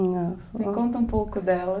Me conta um pouco delas.